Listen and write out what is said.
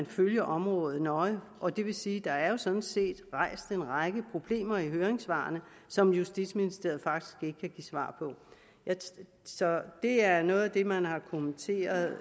følge området nøje og det vil sige at der jo sådan set er rejst en række problemer i høringssvarene som justitsministeriet faktisk ikke kan give svar på så det er noget af det man har kommenteret